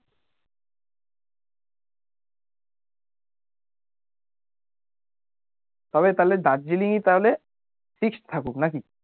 তবে তাহলে দার্জিলিংই তাহলে fixed থাকুক নাকি